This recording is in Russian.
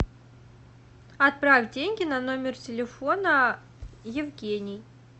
отправь деньги на номер телефона евгений